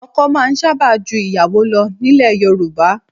Ọkọ máa ń sábà ju ìyàwó lọ nílẹ̀ Yorùbá.